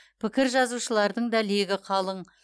пікір жазушылардың да легі қалың